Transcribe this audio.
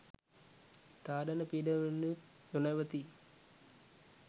තාඩන පීඩන වලිනුත් නොනැවතී